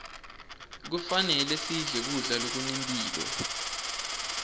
kufanele sidle kudla lokunemphilo